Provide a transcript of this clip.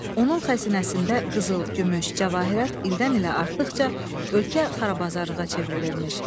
Onun xəzinəsində qızıl, gümüş, cəvahirat ildən ilə artdıqca ölkə xarabazarlığa çevrilirmiş.